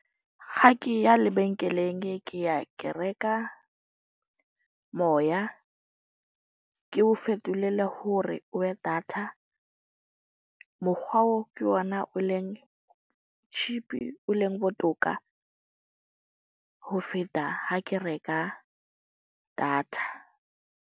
Ha ke ya lebenkeleng, ke ke ya ke reka moya. Ke o fetolela ho re o ye data. Mokgwa oo ke ona o leng cheap-i o leng botoka ho feta ha ke reka data.